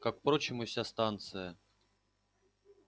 как впрочем и вся станция